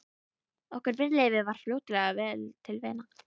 Okkur Brynleifi varð fljótlega vel til vina.